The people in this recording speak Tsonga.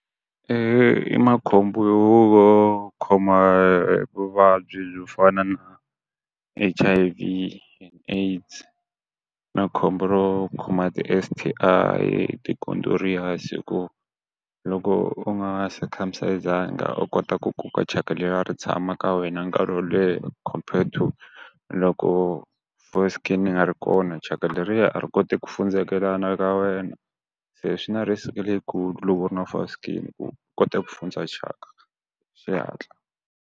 I makhombo yo va u hi khoma vuvabyi byo fana na H_I_V and AIDS na khombo ro khoma ti S_T_I, ti condorious ku loko u nga circumcise-anga u kota ku koka thyaka leriyani ri tshama ka wena nkarhi wo leha compared to loko foreskin yi nga ri kona thyaka leriya a ri koti ku fundzekelana ka wena. Se swi na risk leyikulu loko u ri na foreskin u kota ku fundza thyaka hi xihatla.